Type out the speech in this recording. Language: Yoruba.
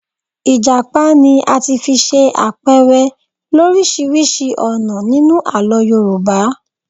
Ìjàpá ni a ti fi ṣe àpẹrẹ lọ́ríṣiríṣi ọ̀nà nínú Àlọ́ Yorùbá.